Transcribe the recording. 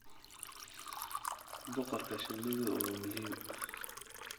Boqorka shinnidu waa muhiim.